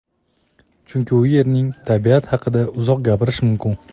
chunki u yerning tabiati haqida uzoq gapirish mumkin.